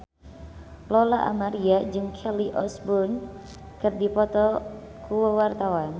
Lola Amaria jeung Kelly Osbourne keur dipoto ku wartawan